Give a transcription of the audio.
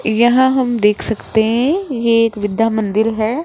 यहां हम देख सकते हैं ये एक विद्या मंदिर है।